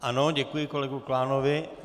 Ano, děkuji kolegovi Klánovi.